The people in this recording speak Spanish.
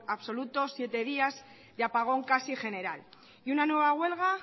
absoluto siete días y apagón casi general y una nueva huelga